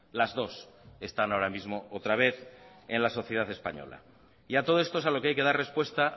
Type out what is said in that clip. las dos están ahora mismo otra vez en la sociedad española y a todo esto es a lo que hay que dar respuesta